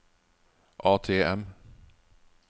ATM